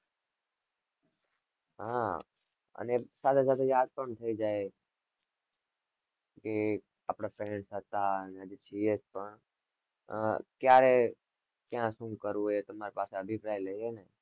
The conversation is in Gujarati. હ અને સાથે સાથે યાદ પણ થઇ જાય કે આપને friends હતા ને હજી છીએ પણ ક્યારે શું કરવું એ તમારી પાસે અભીપરાય લઇ ને